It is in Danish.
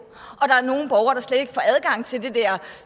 og til det der